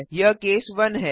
यह केस 1 है